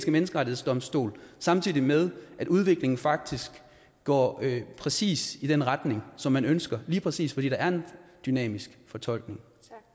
menneskerettighedsdomstol samtidig med at udviklingen faktisk går præcis i den retning som man ønsker lige præcis fordi der er en dynamisk fortolkning